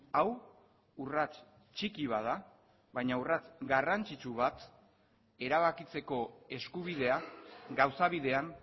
hau urrats txiki bat da baina urrats garrantzitsu bat erabakitzeko eskubidea gauza bidean